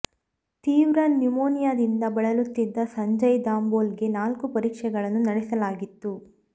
ತೀವ್ರ ನ್ಯುಮೋನಿಯಾದಿಂದ ಬಳಲುತ್ತಿದ್ದ ಸಂಜಯ್ ದಾಬೋಲ್ ಗೆ ನಾಲ್ಕು ಪರೀಕ್ಷೆಗಳನ್ನು ನಡೆಸಲಾಗಿತ್ತು